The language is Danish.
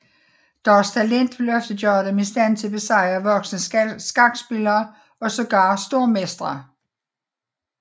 Deres talent vil ofte gøre dem i stand til at besejre voksne skakspillere og sågar stormestre